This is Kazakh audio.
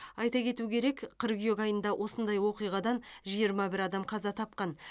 айта кету керек қыркүйек айында осындай оқиғадан жиырма бір адам қаза тапқан